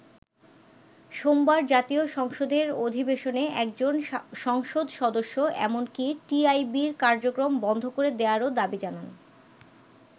সোমবার জাতীয় সংসদের অধিবেশনে একজন সংসদ সদস্য এমনকি টিআইবির কার্যক্রম বন্ধ করে দেয়ারও দাবি জানান।